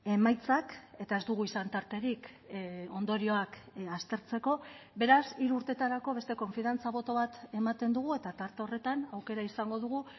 emaitzak eta ez dugu izan tarterik ondorioak aztertzeko beraz hiru urtetarako beste konfiantza boto bat ematen dugu eta tarte horretan aukera izango dugu